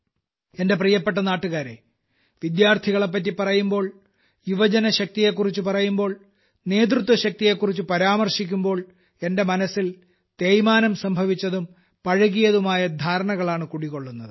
എന്റെ പ്രിയപ്പെട്ട നാട്ടുകാരേ വിദ്യാർത്ഥികളെപ്പറ്റി പറയുമ്പോൾ യുവശക്തിയെക്കുറിച്ച് പറയുമ്പോൾ നേതൃത്വ ശക്തിയെക്കുറിച്ച് പരാമർശിക്കുമ്പോൾ എന്റെ മനസ്സിൽ തേയ്മാനം സംഭവിച്ചതും പഴകിയതുമായ ധാരണകളാണ് കുടികൊള്ളുന്നത്